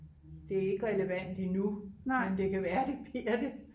det er ikke relevant endnu men det kan være det bliver det